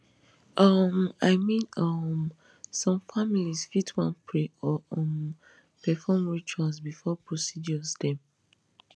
um i mean um some families fit wan pray or um perform rituals before procedures dem